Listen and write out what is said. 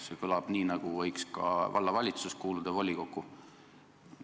See kõlab nii, nagu võiks ka vallavalitsus volikokku kuuluda.